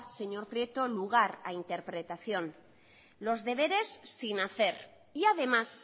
señor prieto lugar a interpretación los deberes sin hacer y además